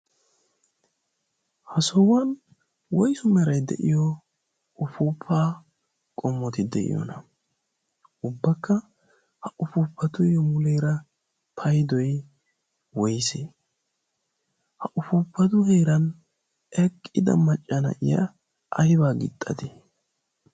ha sohuwan woisu merai de'iyo ufuufaa qommoti de'iyoona ubbakka ha ufuufatuyyo muleera paidoi woysa ha ufuupatu heeran eqqida maccana iya aibaa gixxatii?